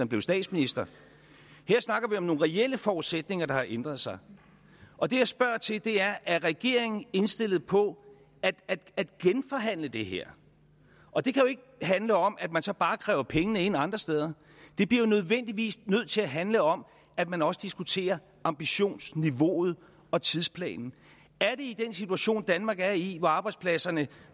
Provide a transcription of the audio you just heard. blevet statsminister her snakker vi om nogle reelle forudsætninger der har ændret sig og det jeg spørger til er er regeringen indstillet på at genforhandle det her og det kan jo ikke handle om at man så bare kræver pengene ind andre steder det bliver jo nødvendigvis nødt til at handle om at man også diskuterer ambitionsniveauet og tidsplanen er det i den situation danmark er i hvor arbejdspladserne